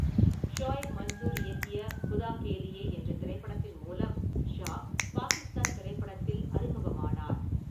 ஷோயப் மன்சூர் இயக்கிய குதா கே லியே என்ற திரைப்படத்தின் மூலம் ஷா பாகிஸ்தான் திரைப்படத்தில் அறிமுகமானார்.